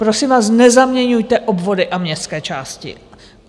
Prosím vás, nezaměňujte obvody a městské části.